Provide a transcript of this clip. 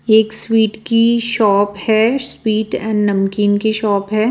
एक स्वीट की शॉप है स्वीट एंड नमकीन की शॉप है।